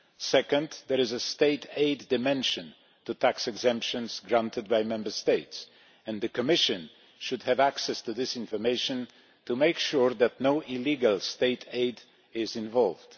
Secondly, there is a state aid dimension to tax exemptions granted by Member States and the Commission should have access to this information to make sure that no illegal state aid is involved.